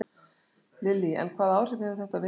Lillý: En hvaða áhrif hefur þetta á vinnuna hjá ykkur?